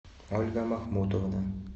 ольга махмутовна